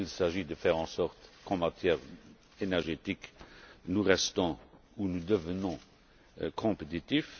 Il s'agit de faire en sorte qu'en matière énergétique, nous restions ou nous devenions compétitifs.